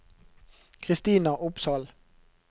Christina Opsahl